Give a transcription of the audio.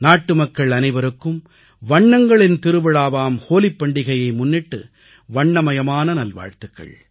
நாட்டுமக்கள் அனைவருக்கும் வண்ணங்களின் திருவிழாவாம் ஹோலிப் பண்டிகையை முன்னிட்டு வண்ணமயமான நல்வாழ்த்துகள்